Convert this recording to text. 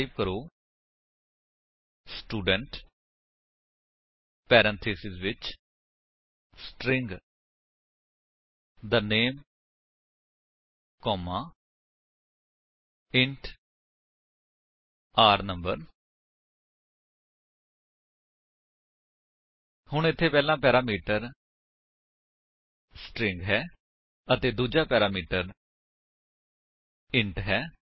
type ਕਰੋ student parenthesis ਵਿੱਚ string the name comma int r no ਹੁਣ ਇੱਥੇ ਪਹਿਲਾ ਪੈਰਾਮੀਟਰ ਸਟ੍ਰਿੰਗ ਹੈ ਅਤੇ ਦੂਜਾ ਪੈਰਾਮੀਟਰ ਇੰਟ ਹੈ